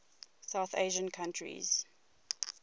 south asian countries